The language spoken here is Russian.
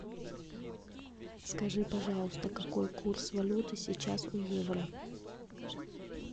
скажи пожалуйста какой курс валюты сейчас у евро